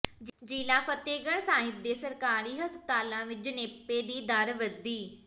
ਜ਼ਿਲ੍ਹਾ ਫਤਹਿਗਡ਼੍ਹ ਸਾਹਿਬ ਦੇ ਸਰਕਾਰੀ ਹਸਪਤਾਲਾਂ ਵਿੱਚ ਜਣੇਪੇ ਦੀ ਦਰ ਵਧੀ